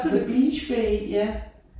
Med Beach Bay ja